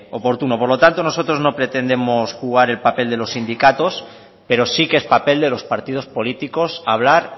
oportuno por lo tanto nosotros no pretendemos jugar el papel de los sindicatos pero sí que es papel de los partidos políticos hablar